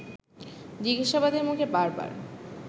জিজ্ঞাসাবাদের মুখে বার বার